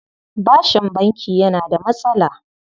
Bashin banki yana da matsala.